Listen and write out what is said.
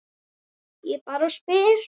Ég bara spyr